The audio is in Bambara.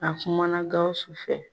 A kumana Gawusu fɛ.